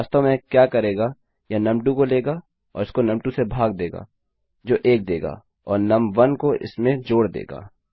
लेकिन वास्तव में यह क्या करेगा यह नुम2 को लेगा और इसको नुम2 से भाग देगा जो 1 देगा और नुम1 को इसमें जोड़ देगा